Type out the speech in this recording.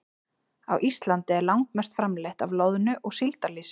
Á Íslandi er langmest framleitt af loðnu- og síldarlýsi.